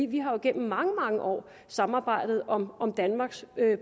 vi har jo igennem mange mange år samarbejdet om om danmarks